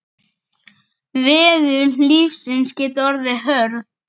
Veður lífsins geta orðið hörð.